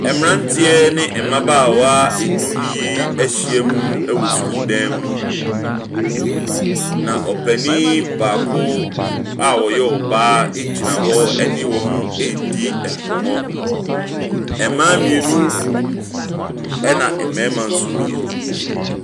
Mmafranteɛ ɛne mmabaawa nnum yi ɛhyia mu wɔ sɔhool dɛɛm. Na panyin baako a ɔyɛ ɔbaa egyina hɔ ne wɔn redi nkɔmmɔ. Mmaa mmienu ɛna mmarima nso mmienu.